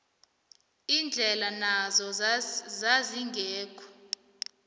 indlela nazo zazingekho